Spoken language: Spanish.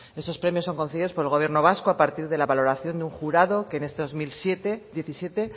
esos premios son concedidos por el gobierno vasco a partir de la valoración de un jurado que en este dos mil diecisiete